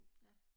Ja